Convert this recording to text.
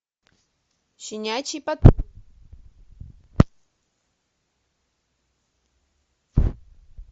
щенячий патруль